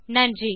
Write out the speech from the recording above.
நன்றி